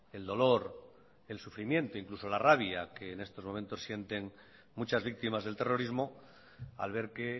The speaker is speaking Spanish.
el dolor el sufrimiento incluso la rabia que estos momentos sienten muchas víctimas del terrorismo al ver que